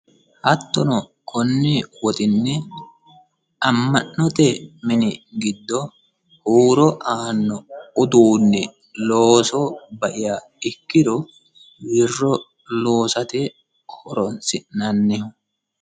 hattono konni woxinni amma'note mini giddo huuro aanno uduunni looso baiha ikkiro wirro loosate horonsi'nanniho.